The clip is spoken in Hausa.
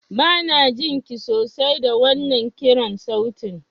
Banajin ki sosai da wannan kiran sautin.